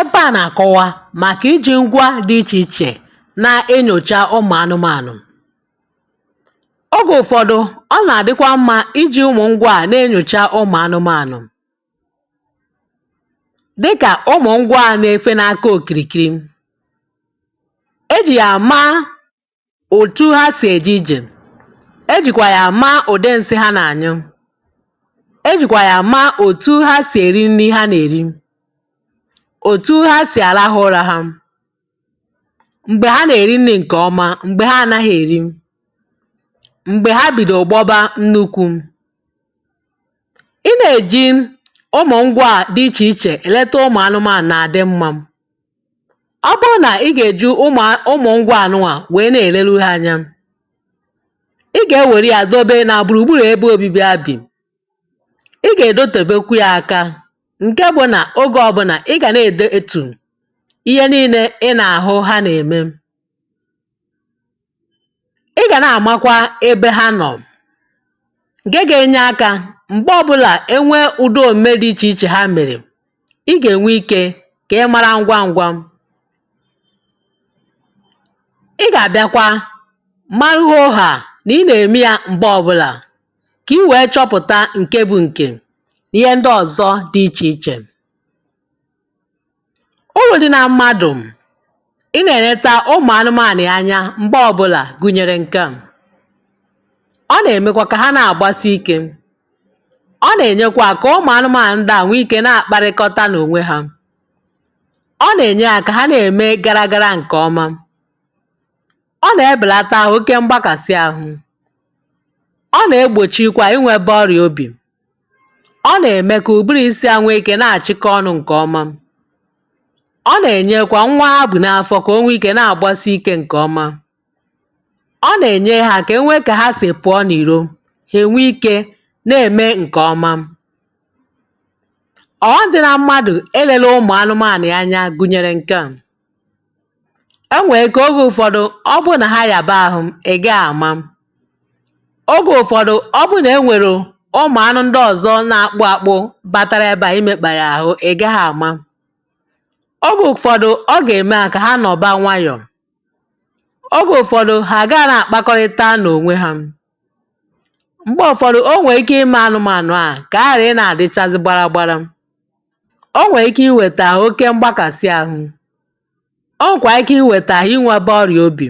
Ebe a na-akọwa maka iji ngwá dị iche iche na-enyocha ụmụ anụmanụ. Oge ụfọdụ, ọ na-adịkwa mma iji ụmụ ngwá a na-enyocha ụmụ anụmanụ dịka ụmụ ngwá a na-efe n'aka okirikiri. E ji ya ama otu ha si eje ije. E jikwa ya ama udi nsị ha na-anyụ. E jikwa ya ama otu ha si eri nri ha na-eri, otu ha si alarụ ụra ha, mgbe ha na-eri nri nke ọma na mgbe ha anaghị eri, mgbe ha bidoro gbọ́bá nnukwu. Ị na-eji ụmụ ngwá a dị iche iche eleta ụmụ anụmanụ na-adị mma. Ọ bụrụ na ị gageji ụmụ n ụmụ ngwá a nụnwa wee na-eleru ha anya, [pause ƴị ga-ewere ya dobe na gburugburu ebe obibi ha bi. Ị gagedotebekwa ya aka nke bụ na ogw ọbụla ị ga na-edetu ihe niile ị na-ahụ ha na-eme. Ị ga na-amakwa ebe ha nọ nke ga-enye aka mgbe ọbụla e nwee udi omume dị iche iche hq mere, ị ga-enwe ike ka ị mara ngwa ngwa. Ị ga-abịakwa marụ hoohaa na ị na-emia mgbe ọbụla ka i wee chọpụta nke bụ nke na ihe ndị ọzọ dị iche iche. Uru dị na mmadụ ị na-eleta ụmụ anụmanụ ya anya mgbe ọbụla gụnyere nke a: ọ na-emekwa ka ha na-agbasi ike, ọ na-enyekwa ka ụmụ anụmanụ ndị a nwee ike na-akparịkọta n'onwe ha, ọ na-enye ha ka ha na-eme gara gara nke ọma, Ọ na-ebelata oké mgbakasị ahụ, ọ na-egbochikwa inwebe ọrịa obi, ọ na-eme ka ụbụrụ isi ha nweexike na-achịkọ ọnụ nke ọma, ọ na-emekwa ka nwa ha bu n'afọ nwekwaa ike na-agbasi ike nke ọma, ọ na-enyere ha aka ka enwee ka ha si pụọ n'iro ha enwee ike na-eme nke ọma. Ọghọm dị na mmadụ eleghị ụmụ anụmanụ ya anya nke ọma gụnyere nke a: enwee ike oge ụfọdụ ọ bụrụ na ha yaba ahụ, ị́ gaa ama, oge ụfọdụ ọ bụrụ na e nwerụ ụmụ anụ ndị ọzọ na-akpụ akpụ batara ebe a imekpa ya ahụ ị gaa ama, oge ụfọdụ ọ ga-eme ha ka ha nọba nwayọọ, oge ụfọdụ ha agaa na-akpakọrịta n'onwe ha, mgbe ụfọdụ o nwere ike ime anụmanụ ahụ ka ha ghara ị na-adịchazị gbaragbara, o nwee ike iweta oke mgbakasị ahụ, o nwekwaa ike iweta inwebe ọrịa obi,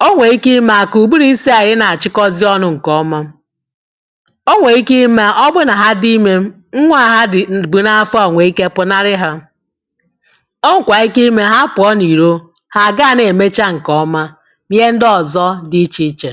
o nwee ike ime ha ka ụbụrụ isi ha ghara ị na-achịkọzị ọnụ ọma, o nwee ike ime ha ọ bụrụ na ha dị ime nwa a ha dị bu n'afọ a nwee ike pụnarị ha, o nwekwaa ike ime ha pụọ n'iro, ha a gaa na-emecha nke ọma na ihe ndị ọzọ dị iche iche.